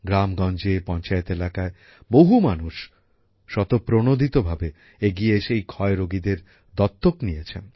গ্রামগঞ্জে পঞ্চায়েত এলাকায় বহু মানুষ স্বতপ্রনোদিত ভাবে এগিয়ে এসে এই যক্ষা রোগীদের দত্তক নিয়েছেন